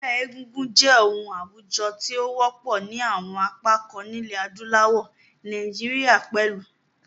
Ẹgbẹ́ egúngún jẹ́ oun àwùjo ti o wọ́pọ̀ ni àwon apá kan nílẹ̀ adúláwò, Naijiria pẹ̀lu.